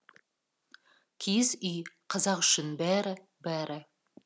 киіз үй қазақ үшін бәрі бәрі